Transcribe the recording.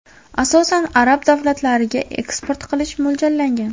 Asosan, arab davlatlariga eksport qilish mo‘ljallangan.